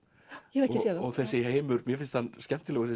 ég hef ekki séð þá og þessi heimur mér finnst hann skemmtilegur